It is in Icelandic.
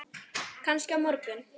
Kannski á morgun.